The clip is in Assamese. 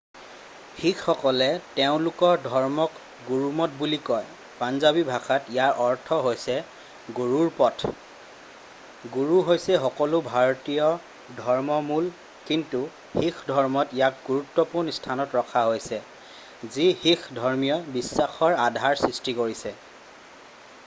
"শিখসকলে তেওঁলোকৰ ধৰ্মক গুৰুমত বুলি কয় পাঞ্জাবী ভাষাত ইয়াৰ অৰ্থ হৈছে "গুৰুৰ পথ""। গুৰু হৈছে সকলো ভাৰতীয় ধৰ্মৰে মূল কিন্তু শিখ ধৰ্মত ইয়াক গুৰুত্বপূৰ্ণ স্থানত ৰখা হৈছে যি শিখ ধৰ্মীয় বিশ্বাসৰ আধাৰ সৃষ্টি কৰিছে।""